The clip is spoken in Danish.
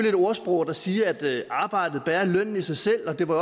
et ordsprog der siger at arbejdet bærer lønnen i sig selv og det var